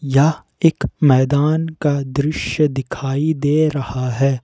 यह एक मैदान का दृश्य दिखाई दे रहा है।